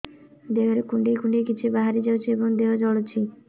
ଦେହରେ କୁଣ୍ଡେଇ କୁଣ୍ଡେଇ କିଛି ବାହାରି ଯାଉଛି ଏବଂ ଦେହ ଜଳୁଛି